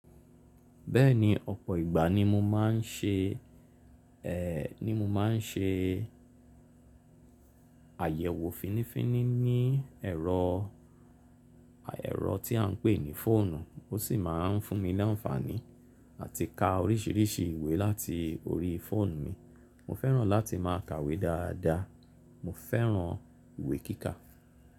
Bẹ́ẹ̀ni ọ̀pọ̀ ìgbà ni mo máa ń ṣe, ni mo máa ń ṣe àyẹ̀wò fínifíni ní ẹ̀rọ, ẹ̀rọ tí à ń pè ní fóònù, ó sì máa ń fún mi ní àǹfààní àti ka oríṣiríṣi ìwé láti orí fóònù mi. Mo fẹ́ràn láti máa kàwé dáadáa. Mo fẹ́ràn ìwé kíkà.